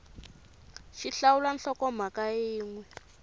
x hlawula nhlokomhaka yin we